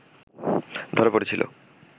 ধরা পড়েছিল